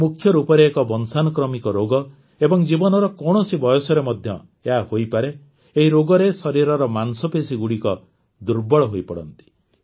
ଏହା ମୁଖ୍ୟ ରୂପରେ ଏକ ବଂଶାନୁକ୍ରମିକ ରୋଗ ଏବଂ ଜୀବନର କୌଣସି ବୟସରେ ମଧ୍ୟ ଏହା ହୋଇପାରେ ଏହି ରୋଗରେ ଶରୀରର ମାଂସପେଶୀଗୁଡ଼ିକ ଦୁର୍ବଳ ହୋଇପଡ଼ନ୍ତି